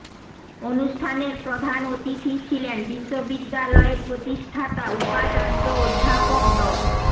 অনুষ্ঠানের প্রধান অতিথি ছিলেন বিশ্ববিদ্যালয়ের প্রতিষ্ঠাতা উপাচার্য অধ্যাপক ড